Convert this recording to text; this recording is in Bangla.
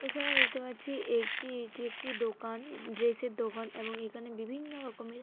এখানে দেখতে পাচ্ছি একটি এটি একটি দোকান ড্রেস -এর দোকান এবং এখানে বিভিন্ন রকমের।